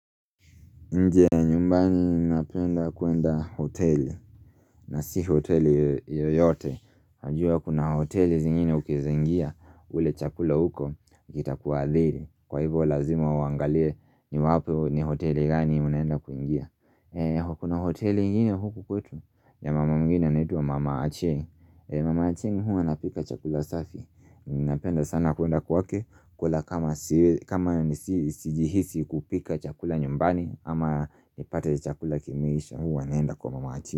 Nje nyumbani napenda kuenda hoteli na si hoteli yoyote Hajua kuna hoteli zingine ukezengia ule chakula huko kita kuadhiri Kwa hivo lazima uangalie ni wapi ni hoteli gani unaenda kuingia Kuna hoteli ingine huko kwetu ya mama mngine anitwa mama Achen Mama Achen hua napika chakula safi Napenda sana kuenda kuake kwa kama sijihisi kupika chakula nyumbani ama nipate chakula kimeisha huwa naenda kwa mama.